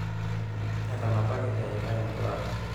etanapaki eyiitae enkurare